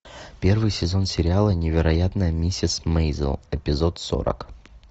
первый сезон сериала невероятная миссис мейзел эпизод сорок